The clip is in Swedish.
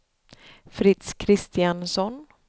Fritz Kristiansson